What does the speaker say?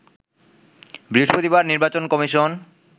বৃহস্পতিবার নির্বাচন কমিশন